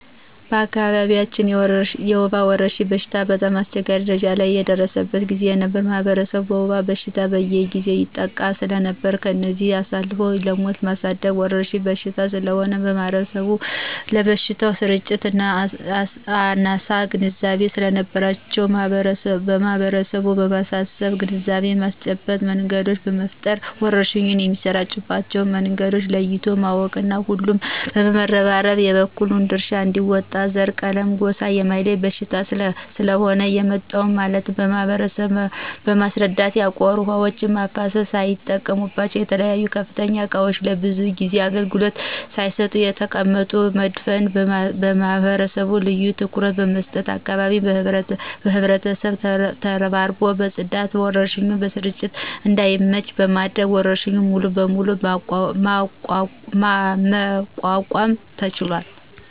በአካባቢያችን የወባ ወረርሽኝ በሽታ በጣም አስቸጋሪ ደረጃ ላይ የደረሰበት ጊዜ ነበር ማህበረሰቡ በወባ በሽታ በየጊዜው ይጠቃ ሰለነበር ከዚህ አልፎም ለሞት የሚዳርግ ወረርሽኝ በሽታ ስለሆነ ማህበረሰቡም ስለበሽታው ስርጭት አናሳ ግንዛቤ ሰለነበራቸው ህብረተሰቡን በማሰባሰብ የግንዛቤ ማስጨበጫ መንገዶችን በመፍጠር ወረርሽኙ የሚሰራጭባቸው መንገዶችን ለይቶ በማሳወቅ ሁሉም በመረባረብ የበኩሉን ድርሻ አንዲወጣ ዘረ :ቀለምና ጎሳ የማይለይ በሽታ ስለሆነ የመጣው በማለት ማህበረሰቡን በማስረዳት ያቆሩ ውሀዎችን በማፋሰስና ላይጠቀሙበት በተለያዩ ክፍት እቃዎች ለብዙ ጊዜ አገልግሎት ሳይሰጡ የተቀመጡትን በመድፋት ማህበረሰቡ ልዮ ትኩረት በመስጠቱ አካባቢውን በህብረት ተረባርቦ በማጽዳት ለወረርሽኙ ስርጭት እዳይመች በማድረግ ወረርሽኙን ሙሉ በሙሉ መቋቋም ተችሏል።